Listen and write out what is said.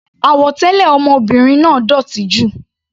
Àwọ̀ tẹlẹ ọmọbìnrin náà dótì jù.